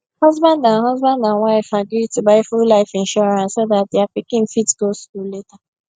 husband and husband and wife agree to buy full life insurance so that dia pikin fit go school later